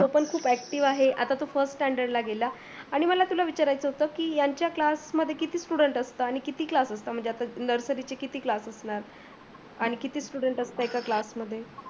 तो पण खूप active आहे आता तो first standard ला गेला. आणि मला तुला विचाराच होतं की ह्यांच्या class मध्ये किती students असतात आणि किती class असतात. nursary चे किती class असतात. आणि किती students असतात class मध्ये